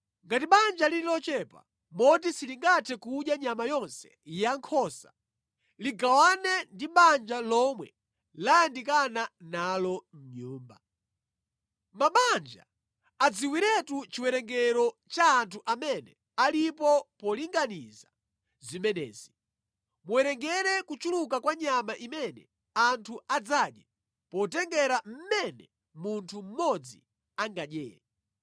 Ngati banja lili lochepa moti silingathe kudya nyama yonse ya nkhosa, ligawane ndi banja lomwe layandikana nalo nyumba. Mabanja adziwiretu chiwerengero cha anthu amene alipo pokonzekera zimenezi. Muwerengere kuchuluka kwa nyama imene anthu adzadye potengera mmene munthu mmodzi angadyere.